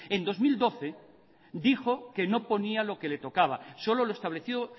en dos mil doce dijo que no ponía lo que le tocaba solo lo establecido